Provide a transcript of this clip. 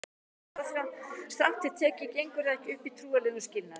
strangt til tekið gengur það ekki upp í trúarlegum skilningi